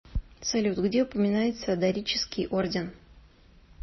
салют где упоминается дорический орден